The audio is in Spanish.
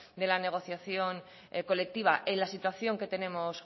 de la negociación colectiva en la situación que tenemos